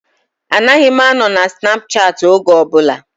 Anaghị m anọ na Snapchaati oge ọbụla